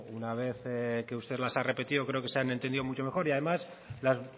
una vez que usted las ha repetido creo que se han entendido mucho mejor y además las